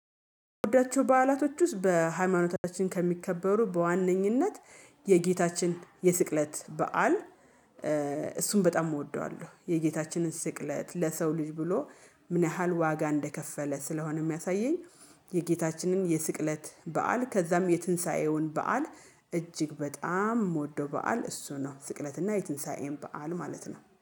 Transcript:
የሚወዳቸው በዓላቶች ውስጥ በሃይማኖታችን ከሚከበሩ በዋነኝነት የጌታችን የስቅለት በዓል። እሱን በጣም እወደዋለሁ። የጌታችንን ስቅለት ለሰው ልጅ ብሎ ምን ያህል ዋጋ እንደከፈለ ስለሆነ የሚያሳየኝ። የጌታችንን የስቅለት በዓል ከዛም የትንሳኤውን በዓል እጅግ በጣም የምወደው በዓል እሱ ነው። ስቅለትና የትንሳኤን በዓል ማለት ነው